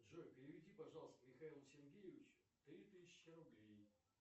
джой переведи пожалуйста михаилу сергеевичу три тысячи рублей